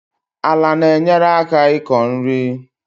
Ala na-enyereaka iko nri